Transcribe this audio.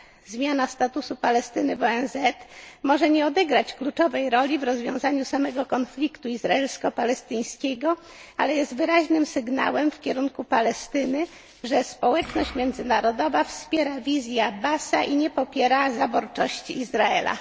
państw. Zmiana statusu Palestyny w ONZ może nie odegrać kluczowej roli w rozwiązaniu samego konfliktu izraelsko palestyńskiego, ale jest wyraźnym sygnałem w kierunku Palestyny, że społeczność międzynarodowa wspiera wizję Abbasa i nie popiera zaborczości Izraela.